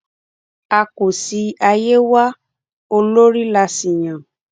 a kò sí àyè wa olórí la sì yàn